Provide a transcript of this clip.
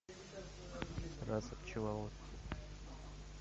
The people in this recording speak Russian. раса пчеловод